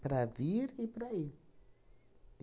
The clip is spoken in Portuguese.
Para vir e para ir.